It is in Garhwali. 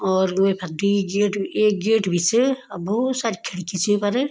और वेफर द्वि गेट एक गेट भी च अ भोत सारी खिड़की च वेफर।